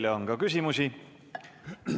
Teile on ka küsimusi.